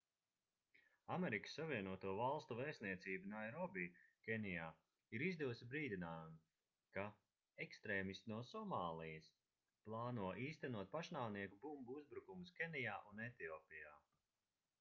amerikas savienoto valstu vēstniecība nairobi kenijā ir izdevusi brīdinājumu ka ekstrēmisti no somālijas plāno īstenot pašnāvnieku bumbu uzbrukumus kenijā un etiopijā